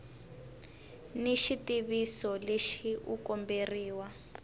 ni xitiviso lexi u komberiwa